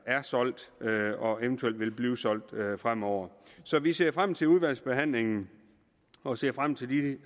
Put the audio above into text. er solgt og eventuelt vil blive solgt fremover så vi ser frem til udvalgsbehandlingen og ser frem til de